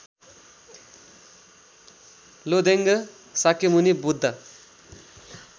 Lodeng Shakyamuni Buddha